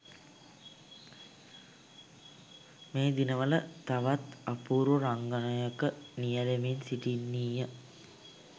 මේ දිනවල තවත් අපූරු රංගනයක නියැලෙමින් සිටින්නීය.